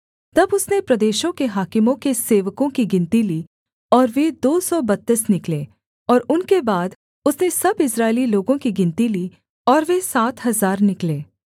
तब उसने प्रदेशों के हाकिमों के सेवकों की गिनती ली और वे दो सौ बत्तीस निकले और उनके बाद उसने सब इस्राएली लोगों की गिनती ली और वे सात हजार निकले